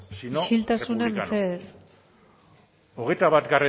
sino isiltasuna mesedez sino republicano hogeita bat